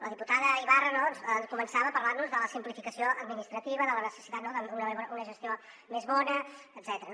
la diputada ibarra no començava a parlar nos de la simplificació administrativa de la necessitat d’una gestió més bona etcètera